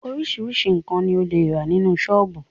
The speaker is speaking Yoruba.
Oríṣiríṣi nkan ni o le rà nínú sọ́ọ́bù